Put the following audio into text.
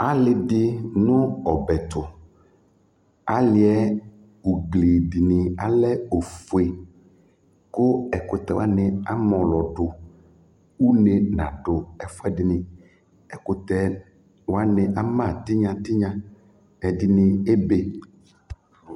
Alɩ dɩ nʋ ɔbɛ ɛtʋ Alɩ yɛ ugli dɩnɩ alɛ ofue kʋ ɛkʋtɛ wanɩ amɔlɔdʋ Une nadʋ ɛfʋɛdɩnɩ Ɛkʋtɛ wanɩ ama tɩnya tɩnya Ɛdɩnɩ ebe